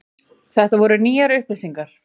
Þetta voru nýjar upplýsingar.